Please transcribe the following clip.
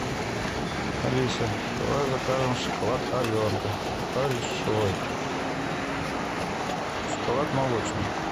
алиса давай закажем шоколад аленка большой шоколад молочный